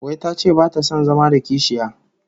Wai tace bata son zama da kishiya?